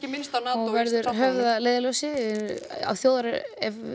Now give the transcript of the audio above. minnst á NATO og verður höfð að leiðarljósi ef